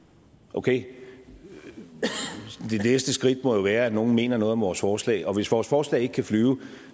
okay det næste skridt må jo være at nogle mener noget om vores forslag og hvis vores forslag ikke kan flyve